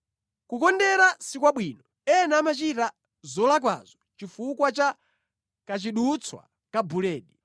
Kukondera si kwabwino, ena amachita zolakwazo chifukwa cha kachidutswa ka buledi.